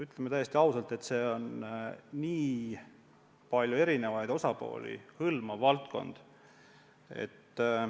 Ütlen täiesti ausalt, et see on väga paljusid erinevaid osapooli hõlmav valdkond.